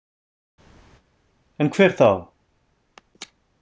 En hver þá?